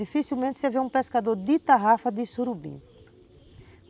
Dificilmente você vê um pescador de tarrafa de surubim.